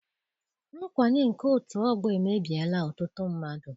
Nkwanye nke otu ọgbọ emebiela ọtụtụ mmadụ.